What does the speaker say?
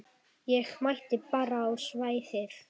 Ég mæti bara á svæðið.